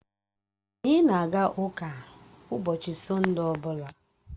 Anyị na-aga ụka ụbọchị Sọnde ọ bụla